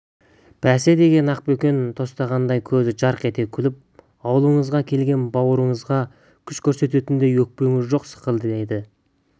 бәсе деген ақбөкен тостағандай көзі жарқ ете күліп ауылыңызға келген бауырыңызға күш көрсететіндей өкпеңіз жоқ секілді еді